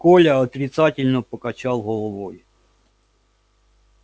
коля отрицательно покачал головой